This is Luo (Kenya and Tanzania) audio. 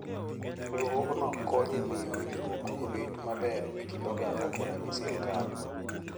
Riwruogno konyo e miyo winjruok obed maber e kind oganda koda gi sirkal.